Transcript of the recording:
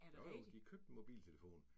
Jo jo de købte en mobiltelefon